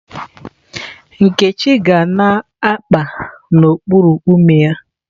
Nkechi ga na-akpa n'okpuru ume ya.